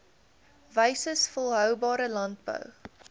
wyses volhoubare landbou